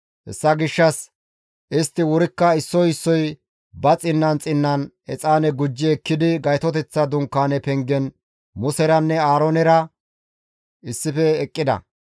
Hessa gishshas istti wurikka issoy issoy ba xinnan xinnan exaane gujji ekkidi Gaytoteththa Dunkaane pengen Museranne Aaroonera issife eqqida.